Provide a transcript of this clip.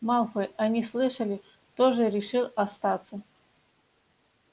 малфой они слышали тоже решил остаться